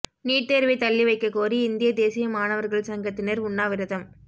NEET தோ்வை தள்ளிவைக்கக் கோரி இந்திய தேசிய மாணவா்கள் சங்கத்தினா் உண்ணாவிரதம்